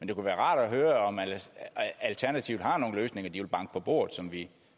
det kunne være rart at høre om alternativet har nogle løsninger de vil banke på bordet og som vi